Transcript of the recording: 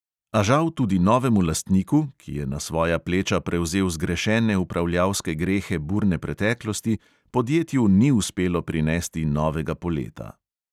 A žal tudi novemu lastniku, ki je na svoja pleča prevzel zgrešene upravljalske grehe burne preteklosti, podjetju ni uspelo prinesti novega poleta.